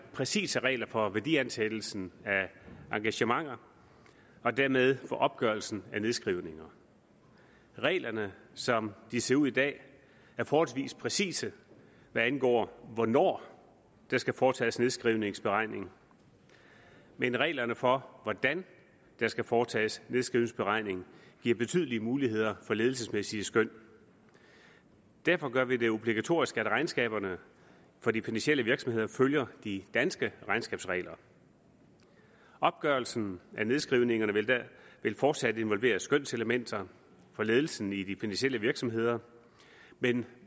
præcise regler for værdiansættelsen af engagementer og dermed opgørelsen af nedskrivninger reglerne som de ser ud i dag er forholdsvis præcise hvad angår hvornår der skal foretages nedskrivningsberegning men reglerne for hvordan der skal foretages nedskrivningsberegning giver betydelige muligheder for ledelsesmæssige skøn derfor gør vi det obligatorisk at regnskaberne for de finansielle virksomheder følger de danske regnskabsregler opgørelsen af nedskrivningerne vil fortsat involvere skønselementer hos ledelsen i de finansielle virksomheder men